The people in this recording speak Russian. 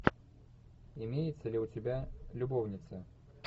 имеется ли у тебя любовницы